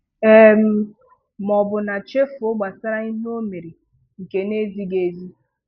um Ma ọbụna chefuo gbasara ihe ọ mere nke na ezighị ezi.